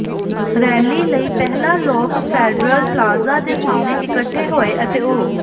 rally ਲਈ ਪਹਿਲਾਂ ਲੋਕ ਫੈਡਰਲ ਪਲਾਜ਼ਾ ਦੇ ਸਾਹਮਣੇ ਇਕੱਠੇ ਹੋਏ ਅਤੇ ਉ